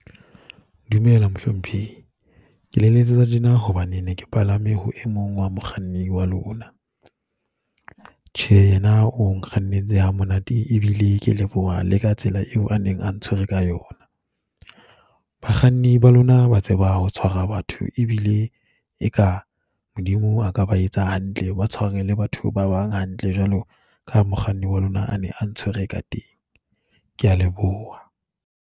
Dumela mohlomphehi, ke le letsetsa tjena hobane ne ke palame ho e mong wa mokganni wa lona. Tjhe, yena o nkgannetse ha monate, e bile ke leboha le ka tsela eo a neng a ntshwere ka yona. Bakganni ba lona ba tseba ho tshwara batho e bile e ka Modimo a ka ba etsa hantle, ba tshware le batho ba bang hantle jwalo ka mokganni wa lona a ne a ntshwere ka teng. Ke ya leboha.